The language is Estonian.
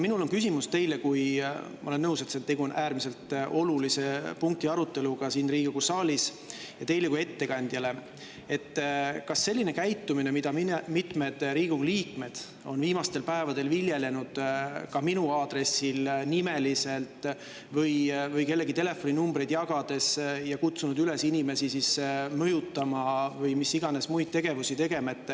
Mul on küsimus teile – ma olen nõus, et tegu on äärmiselt olulise punkti aruteluga siin Riigikogu saalis –, teile kui ettekandjale, sellise käitumise kohta, mida mitmed Riigikogu liikmed on viimastel päevadel viljelenud ka minu aadressil nimeliselt või kellegi telefoninumbreid jagades, kutsudes üles inimesi mõjutama või mida iganes muud tegema.